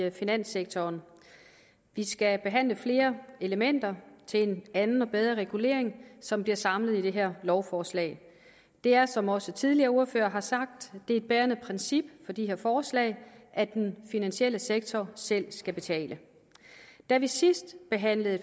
i finanssektoren vi skal behandle flere elementer til en anden og bedre regulering som bliver samlet i det her lovforslag det er som også tidligere ordførere har sagt et bærende princip for de her forslag at den finansielle sektor selv skal betale da vi sidst behandlede